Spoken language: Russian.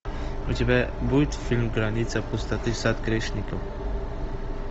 у тебя будет фильм граница пустоты сад грешников